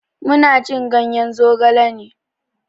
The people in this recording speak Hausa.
Mu na cin ganye zogale ne.